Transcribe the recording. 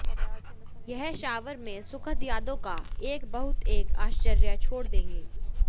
यह शॉवर में सुखद यादों का एक बहुत एक आश्चर्य छोड़ देंगे